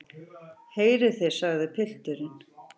Heyrið þið, sagði pilturinn.